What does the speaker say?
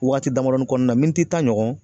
Wagati damadɔnin kɔnɔna na tan ɲɔgɔn